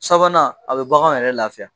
Sabanan a bɛ baganw yɛrɛ lafiya